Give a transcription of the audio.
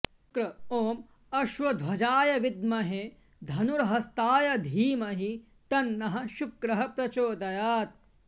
शुक्र ॐ अश्वध्वजाय विद्महे धनुर्हस्ताय धीमहि तन्नः शुक्रः प्रचोदयात्